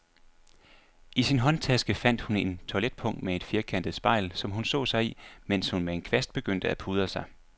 I sin håndtaske fandt hun et toiletpung med et firkantet spejl, som hun så sig i, mens hun med en kvast begyndte at pudre sig.